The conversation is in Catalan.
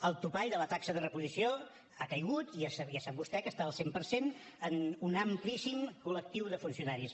el topall de la taxa de reposició ha caigut i ja sap vostè que està al cent per cent en un amplíssim col·lectiu de funcionaris